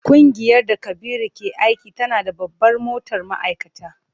Kungiyar da Kabiru ke aiki tana da babbar motar ma'aikata.